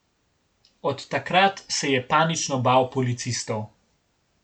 Od takrat se je panično bal policistov.